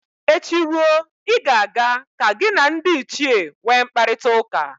Echi ruo, ị ga-aga ka gị na ndị ichie nwe mkparịtaụka